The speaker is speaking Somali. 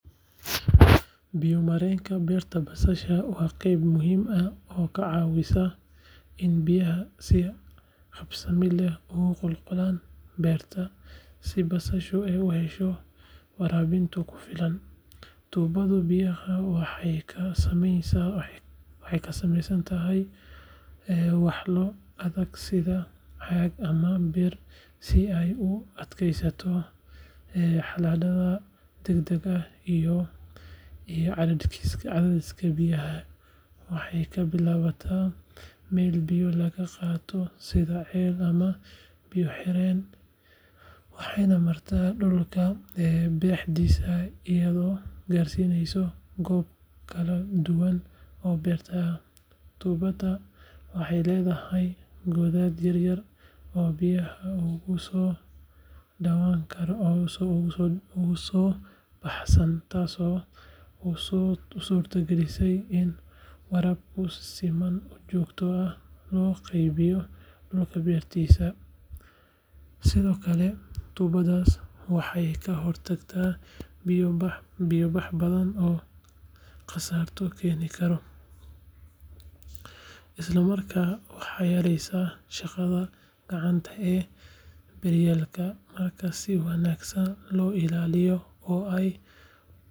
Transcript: Biyo mareenka beerta basasha waa qayb muhiim ah oo ka caawisa in biyaha si habsami leh ugu qulqulaan beerta si basashu u hesho waraabinta ku filan. Tuubada biyaha waxay ka samaysan tahay walxo adag sida caag ama bir si ay u adkeysato xaaladaha deegaanka iyo cadaadiska biyaha. Waxay ka bilaabataa meel biyaha laga qaato sida ceel ama biyo-xireen waxayna maraa dhulka dhexdiisa iyadoo gaarsiineysa goobo kala duwan oo beerta ah. Tuubada waxay leedahay godad yaryar oo biyaha uga soo baxaan, taasoo u suurtogelinaysa in waraabka si siman oo joogto ah loo qaybiyo dhulka beerta. Sidoo kale, tuubadani waxay ka hortagtaa biyo-bax badan oo khasaaro keeni kara, isla markaana waxay yareysaa shaqada gacanta ee beeraleyda. Marka si wanaagsan loo ilaaliyo oo aay.